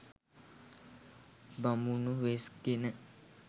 බමුණු වෙස් ගෙන